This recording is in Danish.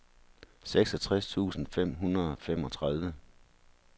syvogtres tusind fem hundrede og femogtredive